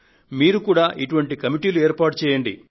మీరు సైతం ఇటువంటి కమిటీలు ఏర్పాటు చేయండి